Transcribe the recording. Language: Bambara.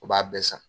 U b'a bɛɛ san